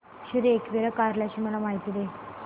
श्री एकविरा कार्ला ची मला माहिती दे